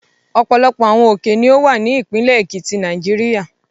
Ọ̀pọ̀lọpọ̀ àwọn òkè ni ó wà ní ìpínlẹ̀ Èkìtì, Nàìjíríà.